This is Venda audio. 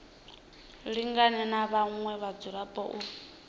lingane na vhaṅwe vhadzulapo u